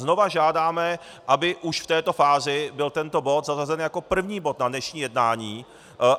Znova žádáme, aby už v této fázi byl tento bod zařazen jako první bod na dnešní jednání.